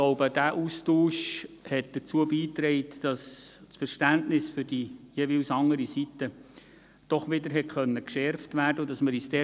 Dieser Austausch trug dazu bei, dass das Verständnis für die jeweils andere Seite doch wieder geschärft werden konnte.